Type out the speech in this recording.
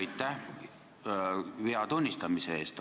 Aitäh vea tunnistamise eest!